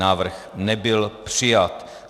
Návrh nebyl přijat.